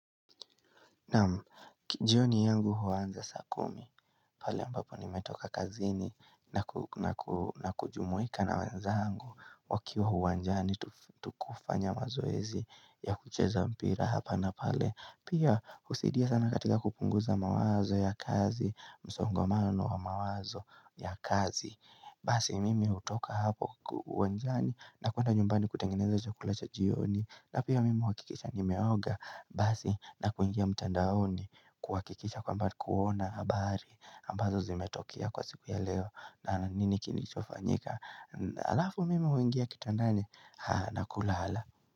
Naam, jioni yangu huanza saa kumi pale ambapo nimetoka kazini na kujumuika na wanzangu wakiwa uwanjani tukufanya mazoezi ya kucheza mpira hapa na pale. Pia husaidia sana katika kupunguza mawazo ya kazi, msongomano wa mawazo ya kazi. Basi mimi hutoka hapo uonjani na kuenda nyumbani kutengeneza chakula cha jioni na pia mimi huakikisha nimeoga basi na kuingia mtandaoni kuwakikisha kwamba kuona habari ambazo zimetokia kwa siku ya leo, na nini kinichofanyika alafu mimi huingia kitandani na kulala.